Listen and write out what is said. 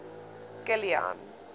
kilian